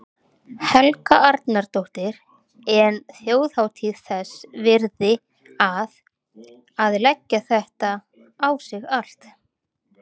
Helga Arnardóttir: En þjóðhátíð þess virði að, að leggja þetta á sig allt?